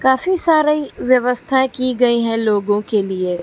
काफी सारी व्यवस्थाएं की गई हैं लोगों के लिए।